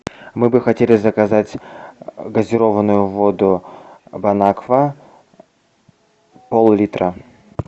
мы бы хотели заказать газированную воду бонаква пол литра